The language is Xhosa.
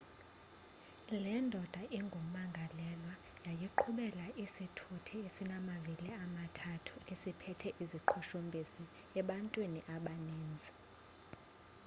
le ndoda ingumangalelwa yayiqhubela isithuthi esinamavili amathathu siphethe iziqhushumbisi ebantwini abaninzi